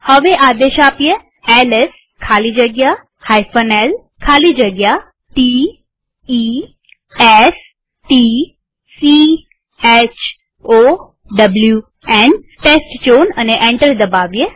હવે આદેશ આપીએ એલએસ ખાલી જગ્યા l ખાલી જગ્યા t e s t c h o w ન અને એન્ટર દબાવીએ